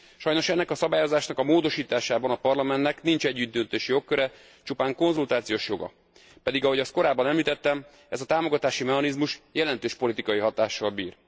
Sajnos ennek a szabályozásnak a módosításában a Parlamentnek nincs együttdöntési jogköre, csupán konzultációs joga, pedig ahogy azt korábban említettem, ez a támogatási mechanizmus jelentős politikai hatással bír.